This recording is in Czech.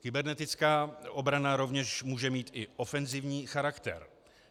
Kybernetická obrana rovněž může mít i ofenzivní charakter.